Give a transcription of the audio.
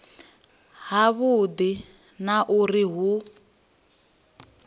ha vhudi na uri hu